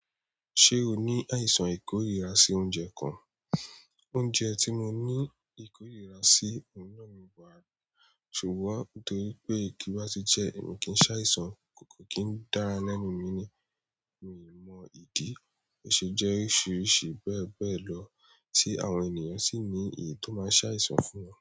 Ṣé o ní àìsàn ìkórìíra sí oúnjẹ kan? Oúnjẹ tí mo ní ìkórìíra sí, òun náà ni, ṣùgbọ́n nítorí pé tí bá ti jẹ́, èmi kì í ṣàìsàn, kò kí n dára lẹ́nu mi ni. Mi o mọ ìdí, ó ṣe jẹ́ oríṣìíríṣìí bẹ́ẹ̀ bẹ́ẹ̀ lọ tí àwọn ènìyàn sì ní èyí tó máa ṣàìsàn fún wọn.